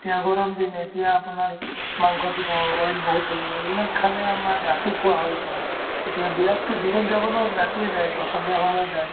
এতিয়া গৰম দিন এতিয়া আপোনাৰ মাংস দিব oil বহুত থাকিব এইবিলাক খালে আমাৰ ৰাতি খোৱা হয়তো এতিয়া বিয়াততো দিনত যাব নোৱাৰি ৰাতিয়ে যায় বা সন্ধিয়া সময়ত যায়